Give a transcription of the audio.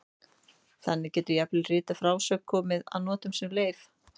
Þannig getur jafnvel rituð frásögn komið að notum sem leif.